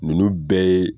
Ninnu bɛɛ ye